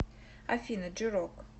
афина джи рок